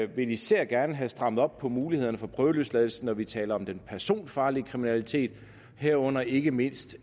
vil især gerne have strammet op på mulighederne for prøveløsladelse når vi taler om den personfarlige kriminalitet herunder ikke mindst